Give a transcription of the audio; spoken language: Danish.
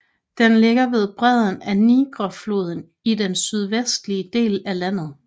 Den ligger ved bredden af Nigerfloden i den sydvestlige del af landet